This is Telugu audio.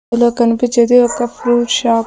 ఇందులొ కనిపిచ్చేది ఒక ఫ్రూట్ షాప్ .